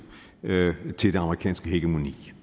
til det amerikanske hegemoni